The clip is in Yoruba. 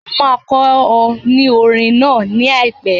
Mo máa kọ ọ ní orín náà ní àìpẹ́.